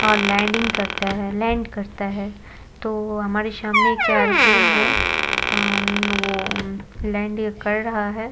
और लैंडिंग करता है लैंड करता है तो हमारे सामने एक एरोप्लेन है अ वो अम लैंड कर रहा है।